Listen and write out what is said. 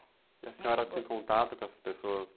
E a senhora tem contato com essas pessoas?